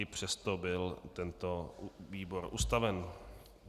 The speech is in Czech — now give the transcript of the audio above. I přesto byl tento výbor ustaven.